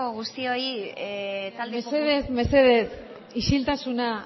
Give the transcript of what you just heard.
guztioi talde mesedez mesedez isiltasuna